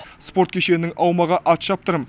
спорт кешенінің аумағы атшаптырым